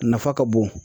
A nafa ka bon